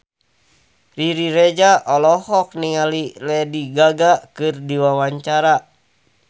Riri Reza olohok ningali Lady Gaga keur diwawancara